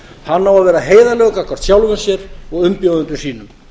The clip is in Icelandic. hann á að vera heiðarlegur gagnvart sjálfum sér og umbjóðendum sínum